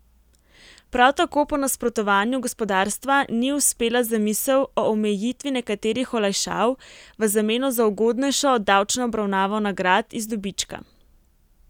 Prav tako po nasprotovanju gospodarstva ni uspela zamisel o omejitvi nekaterih olajšav v zameno za ugodnejšo davčno obravnavo nagrad iz dobička.